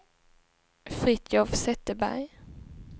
Fritiof Zetterberg